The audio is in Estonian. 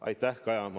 Aitäh, Kaja!